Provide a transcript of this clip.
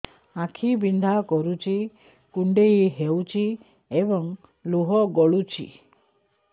ଆଖି ବିନ୍ଧା କରୁଛି କୁଣ୍ଡେଇ ହେଉଛି ଏବଂ ଲୁହ ଗଳୁଛି